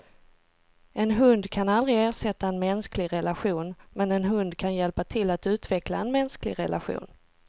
En hund kan aldrig ersätta en mänsklig relation, men en hund kan hjälpa till att utveckla en mänsklig relation.